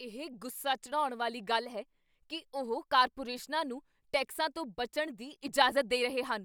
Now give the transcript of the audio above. ਇਹ ਗੁੱਸਾ ਚੜ੍ਹਾਉਣ ਵਾਲੀ ਗੱਲ ਹੈ ਕੀ ਉਹ ਕਾਰਪੋਰੇਸ਼ਨਾਂ ਨੂੰ ਟੈਕਸਾਂ ਤੋਂ ਬਚਣ ਦੀ ਇਜਾਜ਼ਤ ਦੇ ਰਹੇ ਹਨ।